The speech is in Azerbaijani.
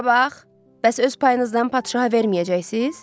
Bura bax, bəs öz payınızdan padşaha verməyəcəksiniz?